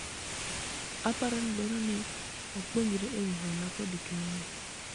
aparo ni dwaro ni wapuonjre ewi hola kod keno